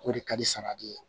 O de ka di saladi ye